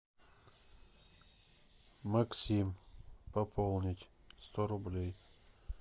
максим пополнить сто рублей